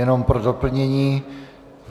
Jenom pro doplnění.